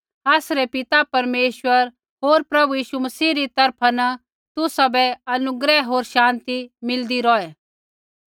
आसरै पिता परमेश्वर होर प्रभु यीशु मसीह री तरफा न तुसाबै अनुग्रह होर शान्ति मिलदी रौहै